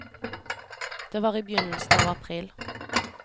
Det var i begynnelsen av april.